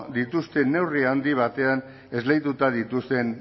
dituzte neurri handi batean esleituta dituzten